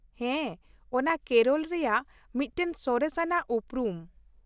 ᱦᱮᱸ , ᱚᱱᱟ ᱠᱮᱨᱚᱞ ᱨᱮᱭᱟᱜ ᱢᱤᱫᱴᱟᱝ ᱥᱚᱨᱮᱥ ᱟᱱᱟᱜ ᱩᱯᱨᱩᱢ ᱾